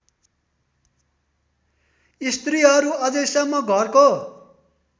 स्त्रीहरू अझैसम्म घरको